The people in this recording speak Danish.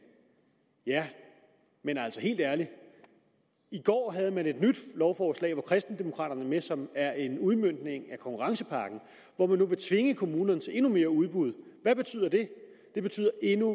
men helt ærligt i går havde man et nyt lovforslag hvor kristendemokraterne var med som er en udmøntning af konkurrencepakken hvor man nu vil tvinge kommunerne til endnu mere udbud hvad betyder det det betyder endnu